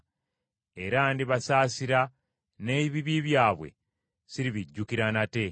Era ndibasaasira, n’ebibi byabwe siribijjukira nate.”